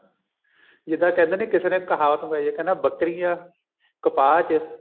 ਜਿੱਦਾਂ ਕਹਿੰਦੇ ਨੀ ਕਿਸੇ ਦੇ ਕਹਾਵਤ ਹੋਏ ਕਹਿੰਦਾ ਬੱਕਰੀਆਂ ਕਪਾਹ ਚ